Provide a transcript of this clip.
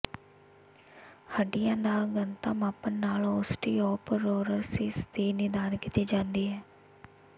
ਹੱਡੀਆਂ ਦਾ ਘਣਤਾ ਮਾਪਣ ਨਾਲ ਓਸਟੀਓਪਰੋਰਸਿਸ ਦੀ ਨਿਦਾਨ ਕੀਤੀ ਜਾਂਦੀ ਹੈ